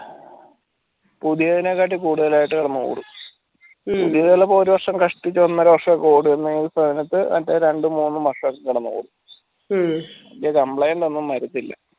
പുതിയതിനെകാട്ടി കൂടുതലായിട്ട് കിടന്ന് ഓടും പുതിയതൊക്കെ ഒരു കഷ്ടിച്ചു ഓരോന്നര വാർഷൊക്കെ ഓടുന്നയിന് സ്ഥാനത്ത് മറ്റെ രണ്ടു മൂന്ന് വർഷൊക്കെ കിടന്നു ഓടു മറ്റു complain ഒന്നും വരത്തില്ല